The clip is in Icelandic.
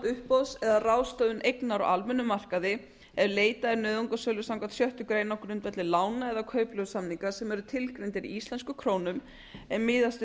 uppboðs eða ráðstöfun eignar á almennum markaði ef leitað er nauðungarsölu samkvæmt sjöttu grein á grundvelli lána eða kaupleigusamninga sem eru tilgreindir í íslenskum krónum en miðast við